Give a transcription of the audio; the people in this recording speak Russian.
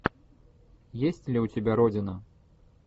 есть ли у тебя родина